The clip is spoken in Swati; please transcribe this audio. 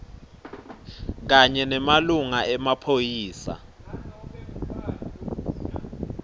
kanye nemalunga emaphoyisa